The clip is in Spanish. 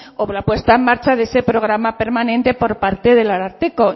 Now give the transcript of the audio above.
o con la puesta en marcha de ese programa permanente por parte del ararteko